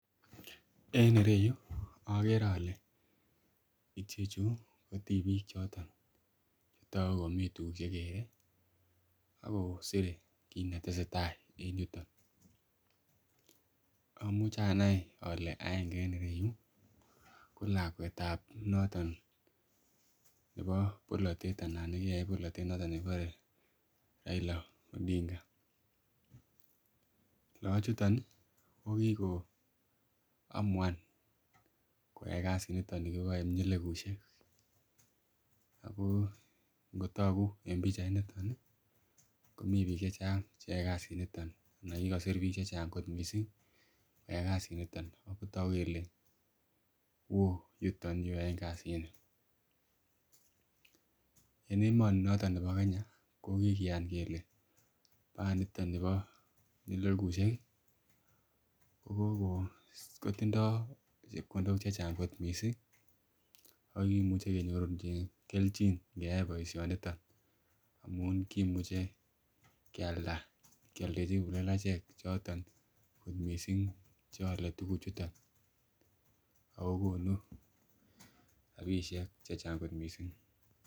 En ireyuu okere ole ichechu ko tipik choton chetoku komii tukuk chekere ako sire kit netesetai en yuton, omuche anai ole aenge en ireyuu ko lakwetab noton nebo bolotet anan nekikoyai bolotet noton nekibore Raila Odinga. Lochuton Nii ko kikoamuan koyai kasit niton nikiboe pyelekushek akoo nkotoku en pichainiton nii komii bik chechang cheyoe kasit niton anan kikosir bik chechang kot missing koyai kasit niton ako toku kele woo yuton yuu yoen kasini. En emoni noton nebo Kenya ko kikiyan kele baaniton nibo pyelekushek ko kokoi kotindo chepkondok che chang kot missing ako kimuche kenyorune keljin nkeyai boishoniton amun kimuche kealda kioldechi kiplelachek choton kot missing che ole tukuchuton okonu rabishek che Chang kot missing.